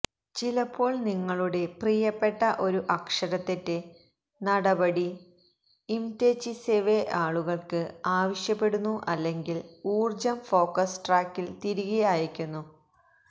ചിലപ്പോൾ നിങ്ങളുടെ പ്രിയപ്പെട്ട ഒരു അക്ഷരത്തെറ്റ് നടപടി ഇംദെചിസിവെ ആളുകൾക്ക് ആവശ്യപ്പെടുന്നു അല്ലെങ്കിൽ ഊർജ്ജം ഫോക്കസ് ട്രാക്കിൽ തിരികെ അയയ്ക്കുന്നു